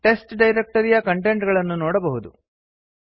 test ಡೈರಕ್ಟರಿಯ content ಗಳನ್ನು ನೋಡಬಹುದು